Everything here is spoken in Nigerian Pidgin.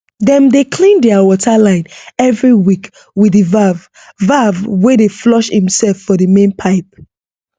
dem dey clean their water line every week with the valve valve wey dey flush imself for the main pipe